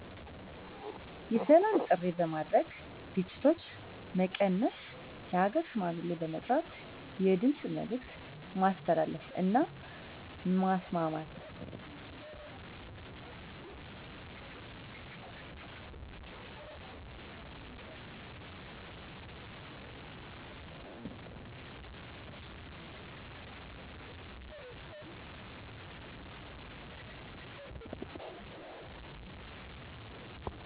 የሰላም ጥሪ በማድረግ ግጭቶች መቀነስ የሃገር ሽማግሌ በመጥራት የድምፅ መልዕክት ማስተላለፍ እና ማስማማት